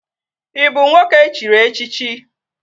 Ị bụ nwoke e chiri echichi?